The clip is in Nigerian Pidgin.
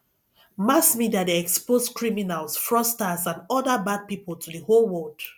mass media de expose criminals fraudsters and other bad pipo to di whole world